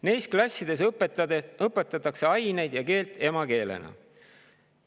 Neis klassides õpetatakse aineid ja keelt emakeelena.